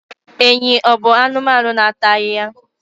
Enyí ọ̀ bụ anụmanụ na-ata ahịhịa?